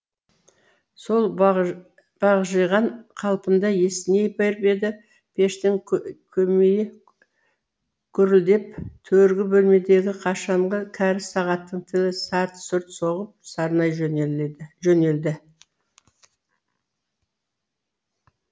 сол бағжиған қалпында есіней беріп еді пештің көмейі гүрілдеп төргі бөлмедегі қашанғы кәрі сағаттың тілі сарт сұрт соғып сарнай жөнелді